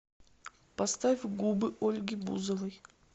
поставь губы ольги бузовой